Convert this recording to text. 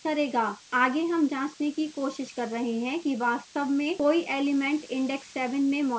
आगे हम जाँचने की कोशिश कर रहे हैं कि वास्तव में कोई element index 7 में मौजूद है